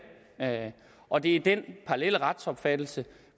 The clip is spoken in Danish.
og det er den parallelle retsopfattelse